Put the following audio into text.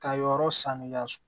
Ka yɔrɔ saniya